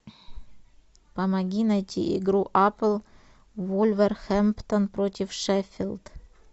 помоги найти игру апл вулверхэмптон против шеффилд